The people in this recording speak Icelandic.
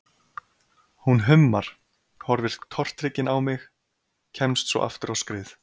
Hún hummar, horfir tortryggin á mig, kemst svo aftur á skrið.